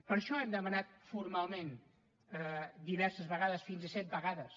per això ho hem demanat formalment diverses vegades fins a set vegades